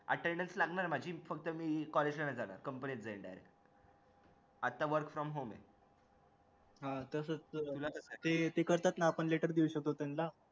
internship साठी तुम्हाला सुट्ट्या भेटतात आता म्हणजे attendance मध्ये हे भेटत असेल ना कि